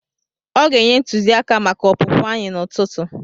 Ọ ga-enye ntụziaka maka opụpụ anyị n'ụtụtụ.